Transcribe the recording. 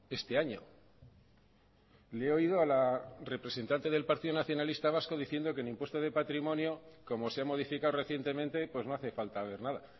este año le he oído a la representante del partido nacionalista vasco diciendo que el impuesto de patrimonio como se ha modificado recientemente no hace falta ver nada